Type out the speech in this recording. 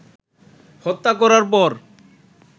হত্যা করার পর